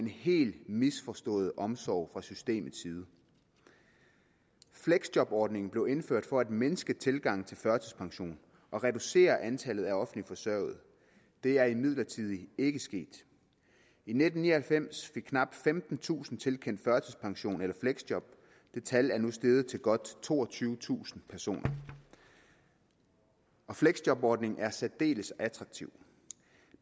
helt misforstået omsorg fra systemets side fleksjobordningen blev indført for at mindske tilgangen til førtidspension og reducere antallet af offentligt forsørgede det er imidlertid ikke sket i nitten ni og halvfems fik knap femtentusind tilkendt førtidspension eller fleksjob det tal er nu steget til godt toogtyvetusind personer fleksjobordningen er særdeles attraktiv